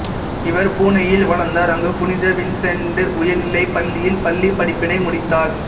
இவர் புனேயில் வளர்ந்தார் அங்கு புனித வின்சென்ட் உயர்நிலைப்பள்ளியில் பள்ளிப்படிப்பினை முடித்தார்